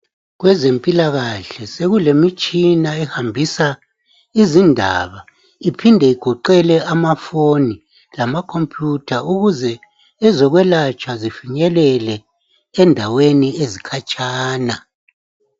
Kwezempilakahle sokulemitshina ehambisa izindaba iphinde igoqele amafoni lamakhomputha ukuze ezekwelatshwa zifinyelele endaweni ekhatshana.